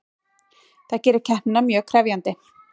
Það gerir keppnina mjög krefjandi